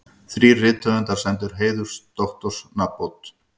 Þrír rithöfundar sæmdir heiðursdoktorsnafnbót